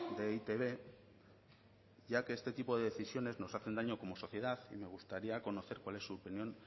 de e i te be ya que este tipo de decisiones nos hacen daño como sociedad me gustaría conocer cuál es su opinión